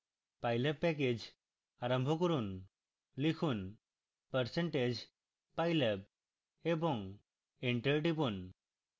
pylab package আরম্ভ করুন লিখুন % pylab এবং enter টিপুন